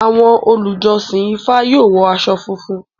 Awọn olujọsin IFA yoo wọ awọn aṣọ funfun.